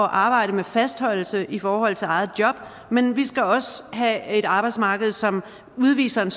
arbejde med fastholdelse i forhold til eget job men vi skal også have et arbejdsmarked som udviser en